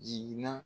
Jiginna